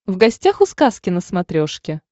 в гостях у сказки на смотрешке